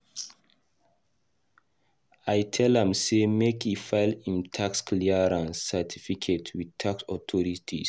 I tell am sey make e file im tax clearance certificate with tax authorities.